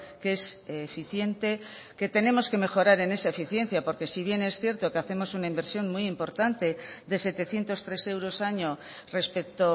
que es eficiente que tenemos que mejorar en esa eficiencia porque si bien es cierto que hacemos una inversión muy importante de setecientos tres euros año respecto